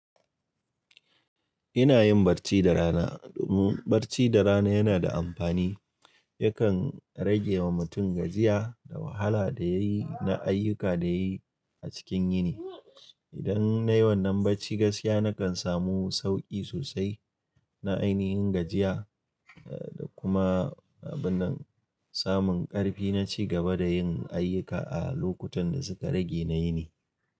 Ina yin bacci da rana. Bacci da rana yana da amfani. Yakan rage wa mutum gajiya da wahala da yayi na ayyuka da yayi a cikin yini. Idan nayi wannan bacci gaskiya, nakan samu sauƙi sosai na ainihin gajiya kuma abun nan, samun ƙarfi na ci gaba da yin ayyuka a lokutan da suka rage na yini.